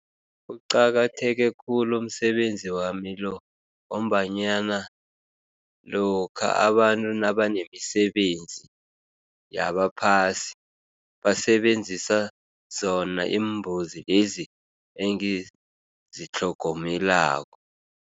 Kuqakatheke khulu umsebenzi wami lo ngombanyana lokha abantu nabanemisebenzi yabaphasi, basebenzisa zona iimbuzi lezi engizitlhogomelako.